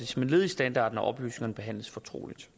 som et led i standarden at oplysningerne behandles fortroligt